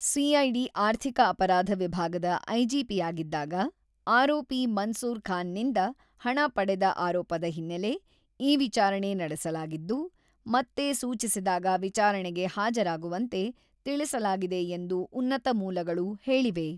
CID ಆರ್ಥಿಕ ಅಪರಾಧ ವಿಭಾಗದ ಐಜಿಪಿಯಾಗಿದ್ದಾಗ ಆರೋಪಿ ಮನ್ಸೂರ್ ಖಾನ್ ನಿಂದ ಹಣ ಪಡೆದ ಆರೋಪದ ಹಿನ್ನೆಲೆ, ಈ ವಿಚಾರಣೆ ನಡೆಸಲಾಗಿದ್ದು, ಮತ್ತೆ ಸೂಚಿಸಿದಾಗ ವಿಚಾರಣೆಗೆ ಹಾಜರಾಗುವಂತೆ ತಿಳಿಸಲಾಗಿದೆ ಎಂದು ಉನ್ನತ ಮೂಲಗಳು ಹೇಳಿವೆ.